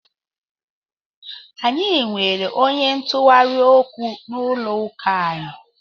Anyị nwere onye ntụgharị okwu n'ụlọ ụka anyị.